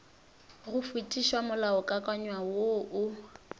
go fetiša molaokakanywa wo o